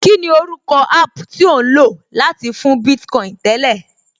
Kíni orúkọ app tí ò ń lò láti fún Bitcoin tẹ́lẹ̀?